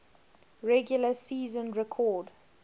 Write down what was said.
regular season record